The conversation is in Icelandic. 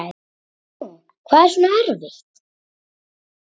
Guðrún: Hvað er svona erfitt?